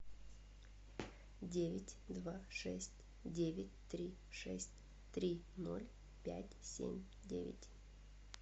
девять два шесть девять три шесть три ноль пять семь девять